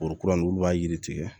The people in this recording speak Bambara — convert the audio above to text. Kuru kurani olu b'a yiri tigɛ